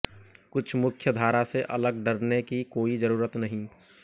कुछ मुख्य धारा से अलग डरने की कोई ज़रूरत नहीं